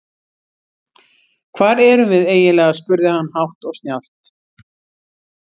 Hvar erum við eiginlega spurði hann hátt og snjallt.